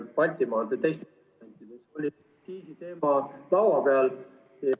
Baltimaade ... aktsiisiteema laua peal.